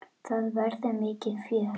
Það verður mikið fjör.